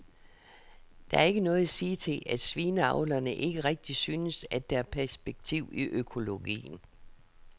Der er ikke noget at sige til, at svineavlerne ikke rigtig synes, at der er perspektiv i økologien.